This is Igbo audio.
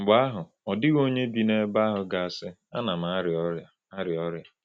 Mgbe ahụ, ọ dịghị onye bi n’ebe ahụ ga-asị: Ana m arịa ọrịa. arịa ọrịa.